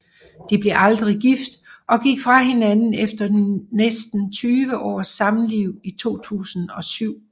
De blev aldrig gift og gik fra hinanden efter næsten 20 års samliv i 2007